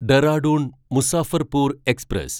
Dehradun Muzaffarpur express